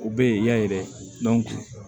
U bɛ yen ya ye dɛ